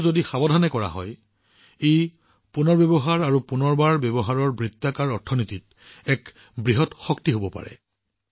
কিন্তু যদি সাৱধানে কৰা হয় ই ৰিচাইকল আৰু ৰিইউজৰ বৃত্তাকাৰ অৰ্থনীতিত এক ডাঙৰ শক্তি হব পাৰে